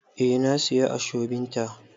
Eh na siya ashobin ta.